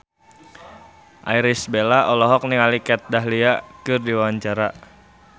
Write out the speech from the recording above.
Irish Bella olohok ningali Kat Dahlia keur diwawancara